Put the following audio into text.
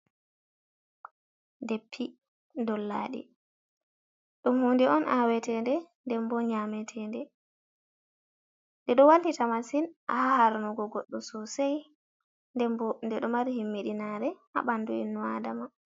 Deppi dollaɗi, ɗum hunnde on aaweteende, nden bo nyaameteende. Ɗi ɗo wallita masin ha harnugo goɗɗo sosai nden bo nde ɗo mari himmiɗinaare ha ɓandu innu Adama.